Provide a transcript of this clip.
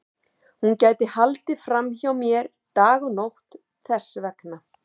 Hún gæti haldið fram hjá mér dag og nótt þess vegna.